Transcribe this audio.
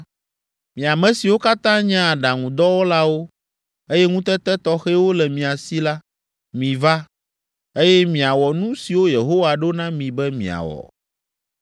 “Mi ame siwo katã nye aɖaŋudɔwɔlawo, eye ŋutete tɔxɛwo le mia si la, miva, eye miawɔ nu siwo Yehowa ɖo na mi be miawɔ: